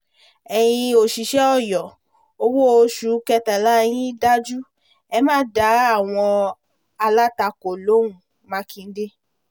ẹ̀yin òṣìṣẹ́ ọyọ owó oṣù kẹtàlá yín dájú ẹ̀ má dá àwọn alátakò lóhùn mákindé